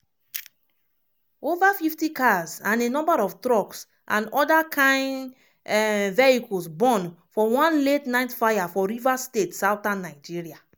over 50 cars and a number of trucks and oda kain um vehicles burn for one late night fire for rivers state southern nigeria.